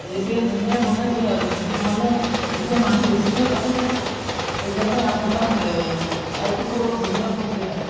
এতিয়া ধুনীয়া বনাইছে আৰু এতিয়া মানুহ এতিয়া মানুহ বেছিকে এফালে যায়। সেইকাৰণে আপোনাৰ ৰেই ঠাইটোকো অলপ ধুনীয়া কৰিছে আৰু।